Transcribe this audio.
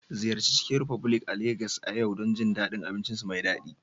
Ziyarci Chicken republic a Legas a yau don jin daɗin abincinsu mai daɗi